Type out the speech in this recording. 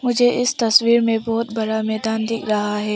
मुझे इस तस्वीर में बहोत बड़ा मैदान दिख रहा है।